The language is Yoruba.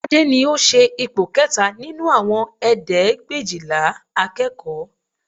Tade ni ó ṣe ipò kẹta nínú àwọn ẹ̀ẹ́dẹ́gbẹ̀éjìlá akẹ́kọ̀ọ́